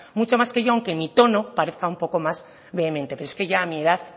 mucho más que yo aunque mi tono parezca un poco más vehemente pero es que a mi edad